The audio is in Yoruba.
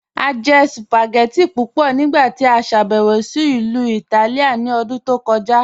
A jẹ̀ spagẹttì pupọ nigbati a ṣàbẹwo sí Ilu Ìtálìà ní òdún tó kọja.